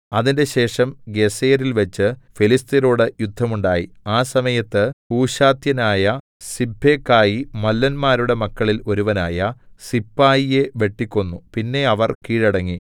അതിന്‍റെശേഷം ഗേസെരിൽവെച്ചു ഫെലിസ്ത്യരോടു യുദ്ധം ഉണ്ടായി ആ സമയത്ത് ഹൂശാത്യനായ സിബ്ബെഖായി മല്ലന്മാരുടെ മക്കളിൽ ഒരുവനായ സിപ്പായിയെ വെട്ടിക്കൊന്നു പിന്നെ അവർ കീഴടങ്ങി